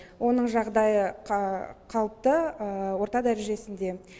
оның жағдайы қалыпты орта дәрежесінде